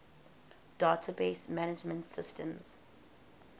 database management systems